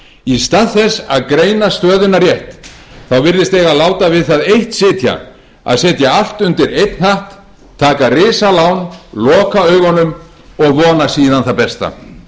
í stað þess að greina stöðuna rétt virðist eiga að láta við það eitt sitja að setja allt undir einn hatt taka risalán loka augunum og vona síðan það besta